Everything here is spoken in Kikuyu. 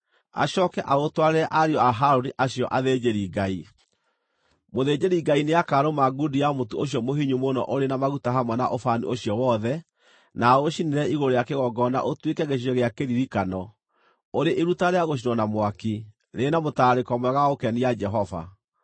acooke aũtwarĩre ariũ a Harũni acio athĩnjĩri-Ngai. Mũthĩnjĩri-Ngai nĩakarũma ngundi ya mũtu ũcio mũhinyu mũno ũrĩ na maguta hamwe na ũbani ũcio wothe, na aũcinĩre igũrũ rĩa kĩgongona ũtuĩke gĩcunjĩ gĩa kĩririkano, ũrĩ iruta rĩa gũcinwo na mwaki, rĩrĩ na mũtararĩko mwega wa gũkenia Jehova.